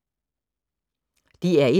DR1